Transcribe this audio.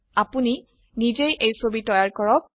আপোনি নিজেই এই ছবি তৈয়াৰ কৰক